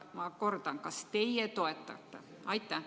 Ma kordan: kas teie toetate?